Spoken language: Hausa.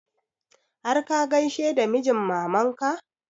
Har ka gaishe da mijin maman ka?